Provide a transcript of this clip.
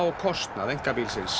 kostnað einkabílsins